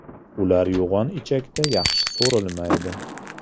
Ular yo‘g‘on ichakda yaxshi so‘rilmaydi.